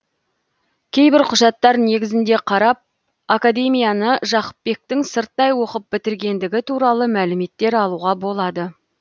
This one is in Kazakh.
кейбір құжаттар негізінде қарап академияны жақыпбектің сырттай оқып бітіргендігі туралы мәліметтер алуға болады